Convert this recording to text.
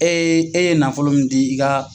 e ye nafolo min di i ka.